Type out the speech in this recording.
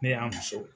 Ne y'a muso